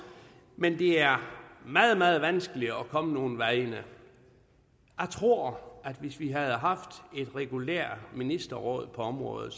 men det er meget meget vanskeligt at komme nogen vegne jeg tror at hvis vi havde haft et regulært ministerråd på området